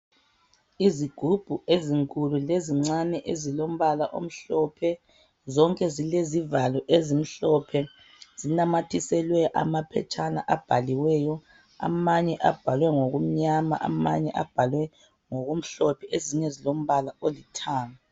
Izigubhu ezinkulu lezincane ezilombala omhlophe, zonke zilezivalo ezimhlophe zinamathiselwe amaphetshana abhaliweyo, amanye abhalwe ngokumnyama, amanye abhalwe ngokumhlophe ezinye zilombala olithanga